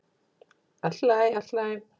"""Allt í lagi, allt í lagi."""